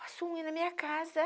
Faço unha na minha casa.